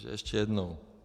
Takže ještě jednou.